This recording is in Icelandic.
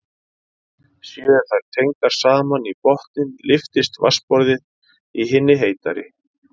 Séu þær tengdar saman í botninn lyftist vatnsborðið í hinni heitari.